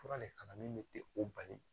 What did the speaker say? Fura le kana min tɛ o bali